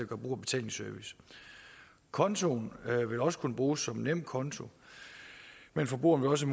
brug af betalingsservice kontoen vil også kunne bruges som nemkonto men forbrugeren vil også